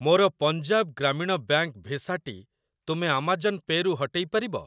ମୋର Punjab Gramin bank visa ଟି ତୁମେ ଆମାଜନ୍ ପେ ରୁ ହଟେଇ ପାରିବ?